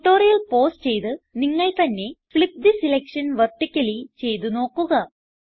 tutorial pause ചെയ്ത് നിങ്ങൾ തന്നെ ഫ്ലിപ്പ് തെ സെലക്ഷൻ വെർട്ടിക്കലി ചെയ്ത് നോക്കുക